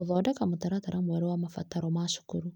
Gũthondeka mũtaratara mwerũ wa mabataro ma cukuru .